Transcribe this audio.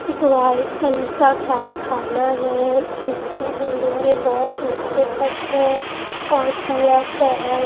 एक white colour का कारखाना है जिसकी बिल्डिंगे बहोत ऊंचे तक है और पूरा शहर--